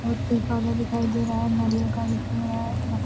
बहुत ही काला दिखाई दे रहा है नारियल का उ पेड़ है। न --